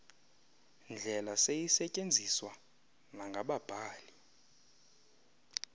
ndlela seyisetyenziswa nangababhali